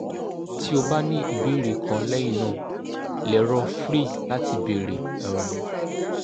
ti o ba ni ibeere kan lẹhinna lero free lati beere um